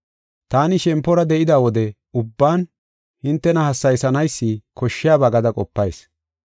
Taani shempora de7ida wode ubban hintena hassayisanaysi koshshiyaba gada qopayis.